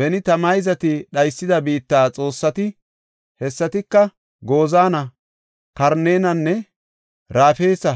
Beni ta mayzati dhaysida biitta xoossati, hessatika, Gozaana, Kaaranenne Rafeesa